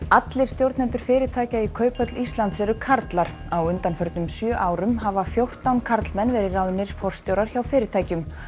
allir stjórnendur fyrirtækja í Kauphöll Íslands eru karlar á undanförnum sjö árum hafa fjórtán karlmenn verið ráðnir forstjórar hjá fyrirtækjunum